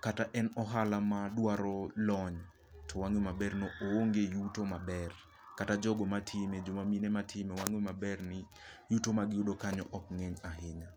kata en ohala madwaro lony. To wang'e maber ni o onge yuto maber. Kata jogo matime joma mine matime wang'e maber ni yuto mag yudo kanyo ok ng'eny ahinya.